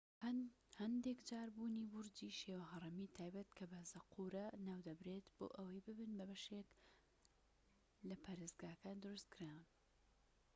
هەندێک جار بورجی شێوە هەڕەمی تایبەت کە بە زەقورە ناودەبرێت بۆ ئەوەی ببن بەشێک بن لە پەرستگاکان دروستکران